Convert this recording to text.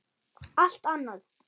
Allt annað!